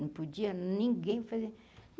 Não podia, ninguém fazer.